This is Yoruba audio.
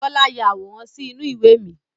Bọlá ya àwòrán sì inú ìwé mi.